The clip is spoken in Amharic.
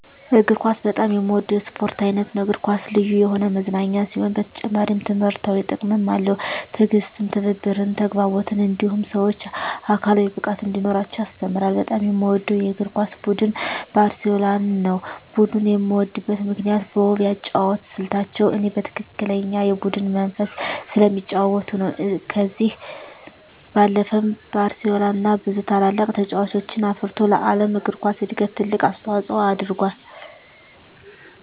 እግር ኳስ በጣም የምወደው የስፖርት አይነት ነው። እግር ኳስ ልዩ የሆነ መዝናኛ ሲሆን በተጨማሪም ትምህርታዊ ጥቅምም አለው። ትዕግስትን፣ ትብብርን፣ ተግባቦትን እንዲሁም ሰወች አካላዊ ብቃት እንዲኖራቸው ያስተምራል። በጣም የምወደው የእግር ኳስ ቡድን ባርሴሎናን ነው። ቡድኑን የምወድበት ምክንያት በውብ የአጨዋወት ስልታቸው እኔ በትክክለኛ የቡድን መንፈስ ስለሚጫወቱ ነው። ከዚህ ባለፈም ባርሴሎና ብዙ ታላላቅ ተጫዋቾችን አፍርቶ ለዓለም እግር ኳስ እድገት ትልቅ አስተዋፅኦ አድርጎአል።